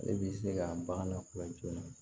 Ale bi se ka bagan lakodɔn joona